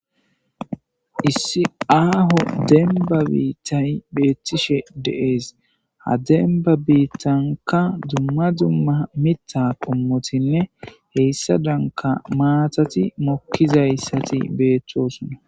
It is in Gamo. Issi aho demba biitay de'es, ha demba bitanka dumma dumma mita qomotinne heysadanka matati momizaysti betosona